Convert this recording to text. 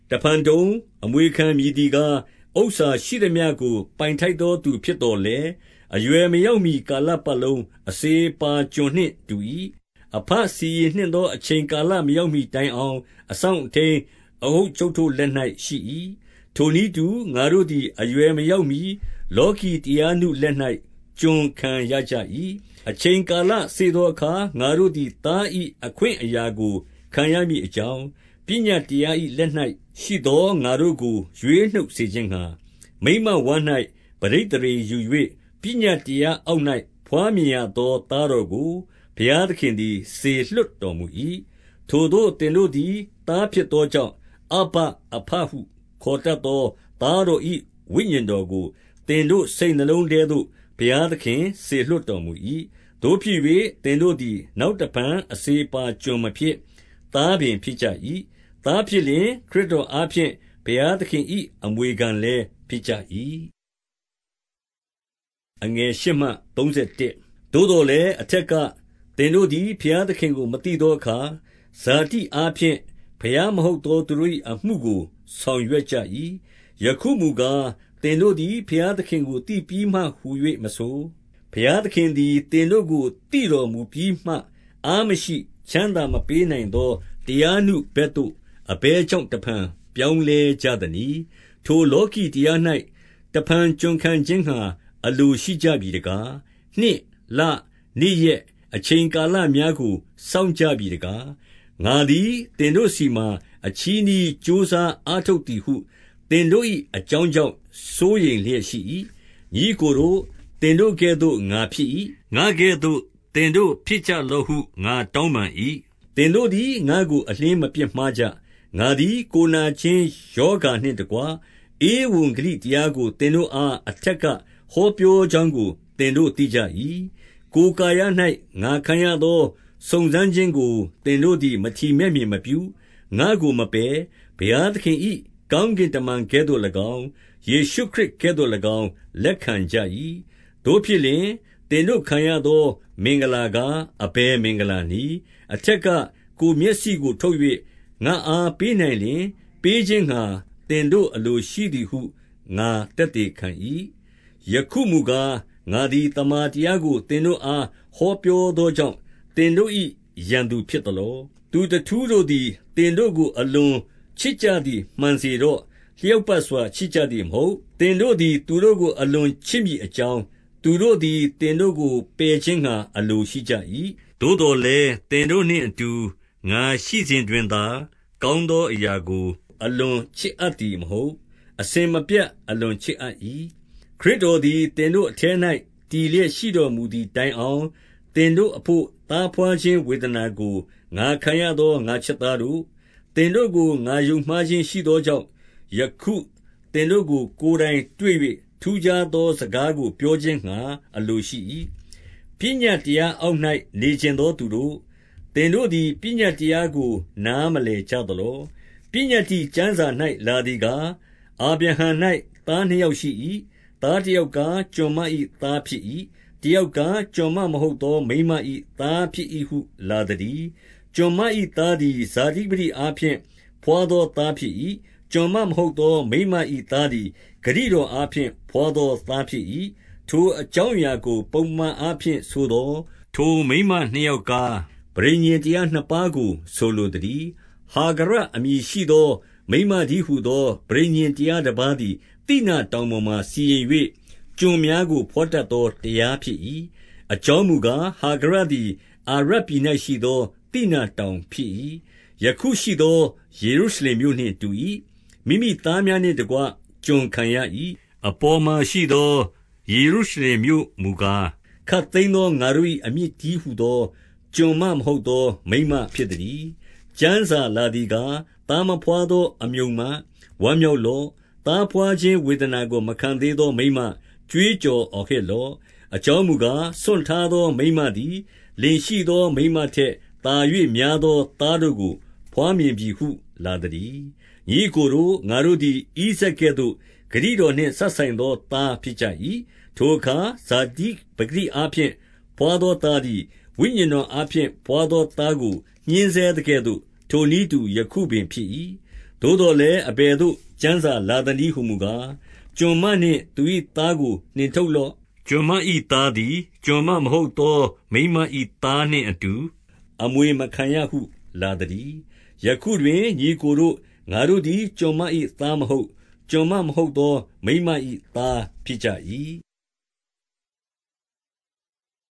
တဖန်တုံ၊ အမွေခံမည်သည်ကား၊ ဥစ္စာရှိသမျှကို ပိုင်ထိုက်သော သူဖြစ်သော်လည်း၊ အရွယ်မရောက်မှီ ကာလပတ်လုံး အစေအပါးကျွန်နှင့် တူ၏။ 2 အဘစီရင်နှင့်သော အချိန်ကာလ မရောက်မှီ တိုင်အောင် အစောင့်အထိန်းအအုပ်အချုပ်တို့ လက်၌ ရှိ၏။ 3 ထိုနည်းတူငါတို့သည် အရွယ်မရောက်မှီ လောကီတရားနုလက်၌ ကျွန်ခံရကြ၏။ 4 အချိန်ကာလစေ့သောအခါ၊ ငါတို့သည်သား၏အခွင့်အရာကို ခံရမည်အကြောင်း၊ 5 ပညတ်တရားလက်၌ရှိသောငါတို့ကို ရွေးနှုတ်စေခြင်းငှါ၊ မိန်းမဝမ်း၌ ပဋိသန္ဓေယူ၍ ပညတ်တရား အောက်၌ဘွားမြင်ရသော သားတော်ကို ဘုရားသခင်သည်စေလွှတ်တော်မူ၏။ 6 ထိုသို့သင်တို့သည်သားဖြစ်သောကြောင့် အဗ္ဗအဘဟု ခေါ်တတ်သော သားတော်၏ဝိညာဉ်တော်ကို သင်တို့စိတ်နှလုံးထဲသို့ ဘုရားသခင် စေလွှတ်တော်မူ၏။ 7 သို့ဖြစ်၍ သင်တို့သည် နောက်တဖန် အစေအပါးကျွန်မဖြစ်၊ သားပင် ဖြစ်ကြ၏။ သားဖြစ်လျှင် ခရစ်တော်အားဖြင့် ဘုရားသခင်၏ အမွေခံလည်း ဖြစ်ကြ၏။ 8 သို့သော်လည်း အထက်က သင်တို့သည် ဘုရားသခင်ကို မသိသောအခါ၊ ဇာတိအားဖြင့် ဘုရားမဟုတ် သော သူတို့၏အမှုကိုဆောင်ရွက်ကြ၏။ 9 ယခုမူကားသင်တို့သည် ဘုရားသခင်ကို သိပြီးမှဟု၍မဆို၊ ဘုရားသင်သည် သင်တို့ကို သိတော်မူပြီးမှ၊ အားမရှိ၊ ချမ်းသာမပေးနိုင်သော တရာနုဘက်သို့ အဘယ်ကြောင့် တဖန်ပြောင်းလဲကြသနည်း။ ထိုလောကီ တရား၌ တဖန်ကျွံခံခြင်းငှါ အလိုရှိကြပြီတကား။ 10 နှစ်၊ လ၊ နေ့ရက်၊ အချိန်ကာလများကို စောင့်ကြပြီတကား။ 11 ငါသည်သင်တို့ဆီမှ အချည်းနှီး ကြိုးစားအားထုတ်သည်ဟု သင်တို့၏အကြောင်းကြောင့် စိုးရိမ် လျက်ရှိ၏။ 12 ညီအစ်ကိုတို့၊ သင်တို့ကဲ့သို့ငါဖြစ်၏။ ငါကဲ့သို့ သင်တို့ဖြစ်ကြလောဟု ငါတောင်းပန်၏။ သင်တို့သည် ငါ့ကိုအလျှင်းမပြစ်မှားကြ။ 13 ငါသည် ကိုယ်နာခြင်းရောဂါနှင့်တကွ၊ ဧဝံဂေလိတရားကို သင်တို့အား အထက်က ဟောပြော ကြောင်းကို သင်တို့သိကြ၏။ 14 ကိုယ်ကာယ၌ငါခံရသော စုံစမ်းခြင်းကို သင်တို့ သည်မထီမဲ့မြင်မပြု၊ ငါကိုမပယ်၊ ဘုရားသခင်၏ ကောင်းကင်တမန်ကဲ့သို့၎င်း၊ ယေရှုခရစ်ကဲ့သို့၎င်း၊ လက်ခံကြ၏။ 15 သို့ဖြစ်လျှင် သင်တို့ခံရသောမင်္ဂလာကား အဘယ်မင်္ဂလာနည်း။ အထက်ကကိုယ်မျက်စိကိုထုတ်၍ ငါ့အား ပေးနိုင်လျှင်၊ ပေးခြင်းငှါသင်တို့အလိုရှိသည်ဟု ငါသက်သေခံ၏။ 16 ယခုမူကား၊ ငါသည်သမ္မာတရားကို သင်တို့အား ဟောပြောသောကြောင့် သင်တို့၏ရန်သူဖြစ်သလော။ 17 သူတထူးတို့သည် သင်တို့ကို အလွန်ချစ်ကြသည် မှန်စေတော့။ လျောက်ပတ်စွာ ချစ်ကြသည်မဟုတ်။ သင်တို့သည်သူတို့ကို အလွန်ချစ်မည်အကြောင်း၊ သူတို့သည် သင်တို့ကို ပယ်ခြင်းငှါ အလိုရှိကြ၏။ 18 သို့သော်လည်းသင်တို့နှင့်အတူ ငါရှိနေစဉ်တွင်သာ ကောင်းသောအရာကို အလွန်ချစ်အပ်သည် မဟုတ်။ အစဉ်မပြတ်အလွန်ချစ်အပ်၏။ 19 ခရစ်တော်သည်သင်တို့အထဲ၌ တည်လျက် ရှိတော်မူသည်တိုင်အောင် သင်တို့အဘို့ သားဘွားခြင်း ဝေဒနာကို ငါခံရသော ငါ့ချစ်သားတို့၊ 20 သင်တို့ကို ငါယုံမှားခြင်းရှိသောကြောင့်၊ ယခု သင်တို့ကို ကိုယ်တိုင်တွေ့၍ ထူးခြားသော စကားကို ပြောခြင်းငှါ အလိုရှိ၏။ 21 ပညတ်တရားအောက်၍နေချင်သောသူတို့၊ သင်တို့သည် ပညတ်တရားကိုနားမလည်ကြသလော။ 22 ပညတ္တိကျမ်းစာ၌ လာသည်ကား၊ အာဗြဟံ၌ သားနှစ်ယောက်ရှိ၏။ သားတယောက်ကား၊ ကျွန်မ၏ သားဖြစ်၏။ တယောက်ကား ကျွန်မမဟုတ်သော မိန်းမ၏သားဖြစ်၏ဟု လာသတည်း။ 23 ကျွန်မ၏သားသည် ဇာတိပကတိအားဖြင့် ဘွားသောသားဖြစ်၏။ ကျွန်မဟုတ်သော မိန်းမ၏သား သည် ဂတိတော်အားဖြင့် ဘွားသောသားဖြစ်၏။ 24 ထိုအကြောင်းအရာကို ပုံပမာအားဖြင့်ဆိုသော်၊ ထိုမိန်းမနှစ်ယောက်ကား၊ ပဋိညာဉ်တရားနှစ်ပါးကို ဆိုလိုသတည်း။ ဟာဂရအမည်ရှိသော မိန်းမတည်းဟူသော ပဋိညာဉ်တရားတပါးသည် သိနာတောင်ပေါ်မှာ စီရင်၍၊ ကျွန်များကိုဘွားတတ်သောတရားဖြစ်၏။ 25 အကြောင်းမူကား၊ ဟာဂရသည် အာရပ်ပြည်၌ရှိသော သိနာတောင်ဖြစ်၏။ ယခုရှိသော ယေရုရှလင်မြို့နှင့် တူ၏၊ မိမိသားများနှင့်တကွ ကျွန်ခံရ၏။ 26 အပေါ်မှာရှိသော ယေရုရှလင်မြို့မူကား၊ ခပ်သိမ်းသော ငါတို့၏ အမိတည်းဟူသော ကျွန်မမဟုတ် သော မိန်းမဖြစ်သတည်း။ 27 ကျမ်းစာလာသည်ကား၊ သားမဘွားသော အမြုံမ၊ ဝမ်းမြောက်လော့။ သားဘွားခြင်းဝေဒနာကို မခံသေးသောမိန်းမ၊ ကြွေးကြော်အော်ဟစ်လော့။ အကြောင်းမူကား၊ စွန့်ထားသောမိန်းမသည် လင်ရှိသော မိန်းမထက် သာ၍များသော သားတို့ကို ဘွားမြင်ပြီဟု လာသတည်း။ 28 ညီအစ်ကိုတို့၊ ငါတို့သည်ဣဇာက်ကဲ့သို့ ဂတိတော်နှင့်စပ်ဆိုင်သော သားဖြစ်ကြ၏။ 29 ထိုအခါ ဇာတိပကတိအားဖြင့် ဘွားသောသားသည် ဝိညာဉ်တော်အားဖြင့် ဘွားသောသားကို ညှင်းဆဲ သကဲ့သို့၊ ထိုနည်းတူ ယခုပင်ဖြစ်၏။ 30 သို့သော်လည်းအဘယ်သို့ ကျမ်းစာလာသနည်းဟူမူကား၊ ကျွန်မနှင့်သူ၏သားကိုနှင်ထုတ်လော့။ ကျွန်မ ၏သားသည် ကျွန်မမဟုတ်သော မိန်းမ၏သားနှင့်အတူ အမွေမခံရဟုလာသတည်း။ 31 ယခုတွင်ညီအစ်ကိုတို့၊ ငါတို့သည် ကျွန်မ၏ သားမဟုတ်၊ ကျွန်မမဟုတ်သော မိန်းမ၏သားဖြစ်ကြ၏။